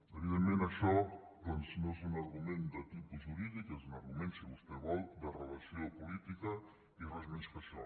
evidentment això doncs no és un argument de tipus jurídic és un argument si vostè ho vol de relació política i res més que això